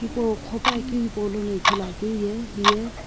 hipau kho pa akiu hipau lono ithulu akiu ye hiye.